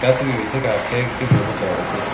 katuiyosiekabkei chekonu toretet